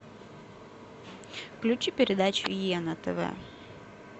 включи передачу е на тв